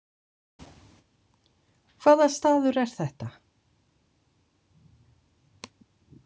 Hvaða staður er þetta?